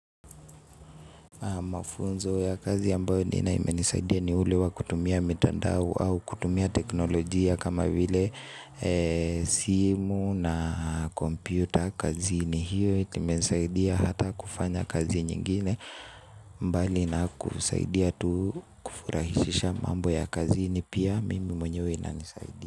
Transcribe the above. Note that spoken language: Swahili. Mafunzo ya kazi ambayo nina imenisaidia ni ule wa kutumia mitandao au kutumia teknolojia kama vile simu na kompyuta kazi ni hiyo eti imenisaidia hata kufanya kazi nyingine mbali na kusaidia tu kufurahishisha mambo ya kazi ni pia mimi mwenyewe inanisaidia.